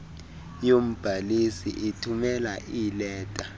yombhalisi ithumela iileta